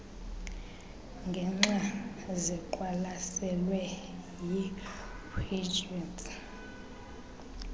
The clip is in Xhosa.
ngexa ziqwalaselwe yipgds